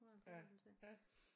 Hun har 50 års fødselsdag